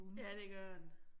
Ja, det gør den